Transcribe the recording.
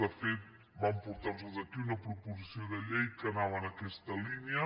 de fet vam portar los aquí una proposició de llei que anava en aquesta línia